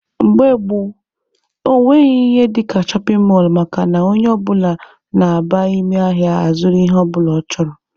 Mgbe gboo, ọ nweghị ihe dịka shọpin mọlụ makana onye ọbụla na-aba ime ahịa a zụrụ ihe ọbụla ọ chọrọ.